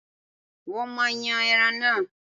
wọn maá yan ẹran náà.